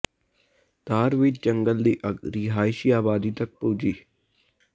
ਧਾਰ ਵਿੱਚ ਜੰਗਲ ਦੀ ਅੱਗ ਰਿਹਾਇਸ਼ੀ ਆਬਾਦੀ ਤੱਕ ਪੁੱਜੀ